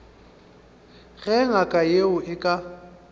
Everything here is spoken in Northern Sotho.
ge ngaka yeo e ka